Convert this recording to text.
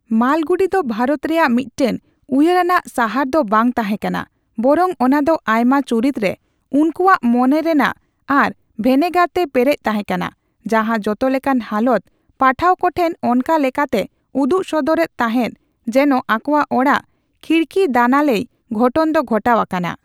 ᱢᱟᱞᱜᱩᱰᱤ ᱫᱚ ᱵᱷᱟᱨᱚᱛ ᱨᱮᱭᱟᱜ ᱢᱤᱫᱴᱟᱝ ᱩᱭᱦᱟᱹᱨᱟᱱᱟᱜ ᱥᱟᱦᱟᱨ ᱫᱚ ᱵᱟᱝ ᱛᱟᱦᱮᱸ ᱠᱟᱱᱟ, ᱵᱚᱨᱚᱝ ᱚᱱᱟ ᱫᱚ ᱟᱭᱢᱟ ᱪᱩᱨᱤᱛ ᱨᱮ, ᱩᱱᱠᱩᱭᱟᱜ ᱢᱚᱱᱮᱨᱮᱭᱟᱜ ᱟᱨ ᱵᱷᱮᱱᱮᱜᱟᱨ ᱛᱮ ᱯᱮᱨᱮᱪ ᱛᱟᱦᱮᱸ ᱠᱟᱱᱟ, ᱡᱟᱦᱟᱸ ᱡᱚᱛᱚᱞᱮᱠᱟᱱ ᱦᱟᱞᱚᱛ ᱯᱟᱴᱷᱟᱹᱣ ᱠᱚ ᱴᱷᱮᱱ ᱚᱱᱠᱟᱞᱮᱠᱟᱛᱮ ᱩᱫᱩᱜᱥᱚᱫᱚᱨ ᱮᱫ ᱛᱟᱦᱮᱸᱫ ᱡᱮᱱᱚ ᱟᱠᱚᱣᱟᱜ ᱚᱲᱟᱜ ᱠᱷᱤᱲᱠᱤᱫᱟᱱᱟᱞᱮᱭ ᱜᱷᱚᱴᱚᱱ ᱫᱚ ᱜᱷᱚᱴᱟᱣ ᱟᱠᱟᱱᱟ ᱾